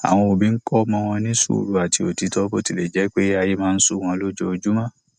àwọn òbí kó ọmọ wọn sùúrù àti òtítọ bó tilẹ jẹ pé ayé máa ń sú wọn lójoojúmọ